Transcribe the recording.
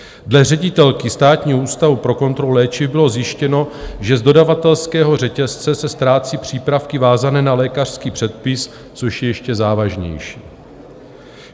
Dle ředitelky Státního ústavu pro kontrolu léčiv bylo zjištěno, že z dodavatelského řetězce se ztrácí přípravky vázané na lékařský předpis, což je ještě závažnější.